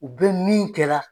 U be min kɛla